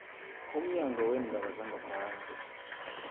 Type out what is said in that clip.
umnyango weendaba zangaphandle